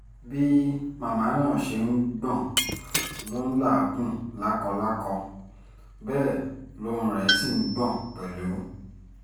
bí màmá náà ṣe ń gbọ̀n ló ń làágùn lákòlákò bẹ́ẹ̀ lohun rẹ̀ sì ń gbọ́ pẹ̀lú